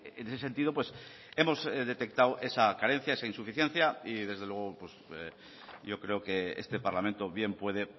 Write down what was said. en ese sentido hemos detectado esa carencia esa insuficiencia y desde luego yo creo que este parlamento bien puede